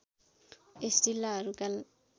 यस जिल्लाहरूका